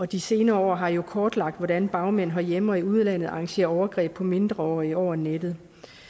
de senere år har jo kortlagt hvordan bagmænd herhjemme og i udlandet arrangerer overgreb på mindreårige over nettet